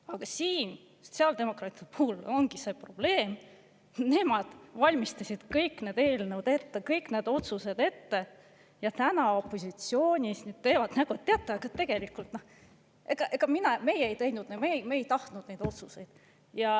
Aga siin sotsiaaldemokraatide puhul ongi see probleem, et nemad valmistasid kõik need eelnõud ette, kõik need otsused ette, aga täna opositsioonis teevad nägu: "Teate, tegelikult ega meie ei teinud, me ei tahtnud neid otsuseid.